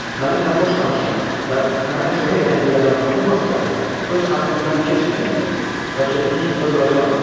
mənimlə xoş danışan və mənə kömək edən bir adam tapılmasa da, öz haqqımdan keçməyəcəyəm və sözümün üstündə duracağam.